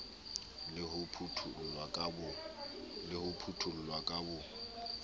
le ho phuthollwa ka bo